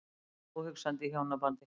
Óhugsandi í hjónabandi.